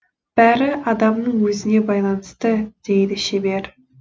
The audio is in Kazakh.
бәрі адамның өзіне байланысты дейді шебер